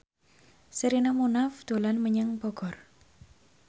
Sherina Munaf dolan menyang Bogor